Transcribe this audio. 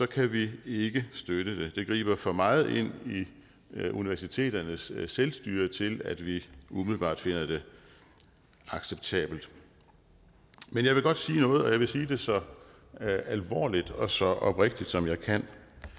kan vi ikke støtte det det griber for meget ind i universiteternes selvstyre til at vi umiddelbart finder det acceptabelt men jeg vil godt sige noget og jeg vil sige det så alvorligt og så oprigtigt som jeg kan